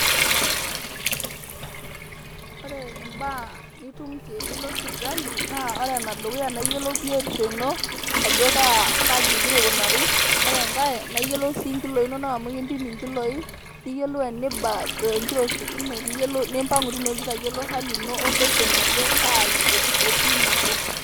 Kore imbaa nitum tenilo sipitali naa ore enedukuya naa iyiolou biotisho ino, ajo kaji egira aikunarri. Ore engai, naa iyolou sii inkiloi inono amu kimpimi inkiloi niyiolou eniba tenkiroshi ino nimpang'u teine itayiolu hali ino osesen ajo kai etii nabo.